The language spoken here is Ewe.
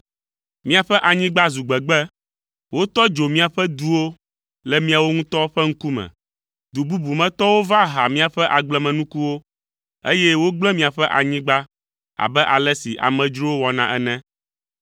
Miaƒe anyigba zu gbegbe, wotɔ dzo miaƒe duwo le miawo ŋutɔ ƒe ŋkume, du bubu me tɔwo va ha miaƒe agblemenukuwo, eye wogblẽ miaƒe anyigba abe ale si amedzrowo wɔna ene.